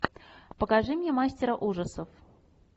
покажи мне мастера ужасов